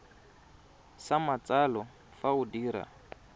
sa matsalo fa o dira